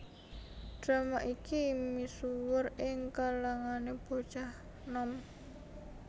Drama iki misuwur ing kalangané bocah nom